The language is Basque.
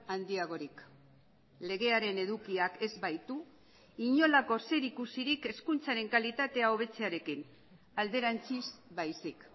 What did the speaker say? handiagorik legearen edukiak ez baitu inolako zerikusirik hezkuntzaren kalitatea hobetzearekin alderantziz baizik